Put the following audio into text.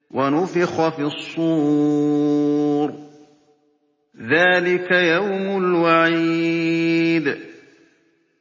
وَنُفِخَ فِي الصُّورِ ۚ ذَٰلِكَ يَوْمُ الْوَعِيدِ